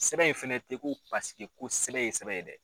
Sɛbɛn in fɛnɛ tɛ ko parseke ko sɛbɛn ye sɛbɛn ye dɛ!